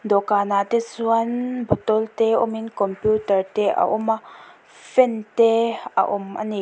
dawhkan ah te chuan bottle te awm in computer te a awm a fan te a awm ani.